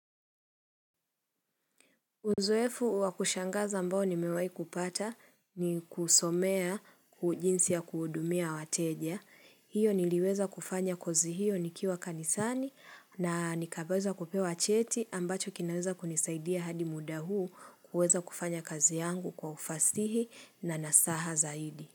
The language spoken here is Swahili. Uzoefu wakushangaza ambao nimewahi kupata ni kusomea jinsia kuhudumia wateja. Hiyo niliweza kufanya kozi hiyo nikiwa kanisani na nikapaswa kupewa cheti ambacho kinaweza kunisaidia hadi muda huu kuweza kufanya kazi yangu kwa ufasihi na nasaha zaidi.